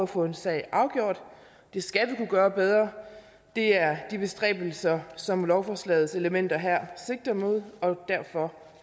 få en sag afgjort det skal vi kunne gøre bedre det er de bestræbelser som lovforslagets elementer her sigter mod og derfor